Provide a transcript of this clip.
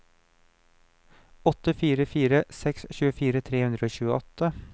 åtte fire fire seks tjuefire tre hundre og tjueåtte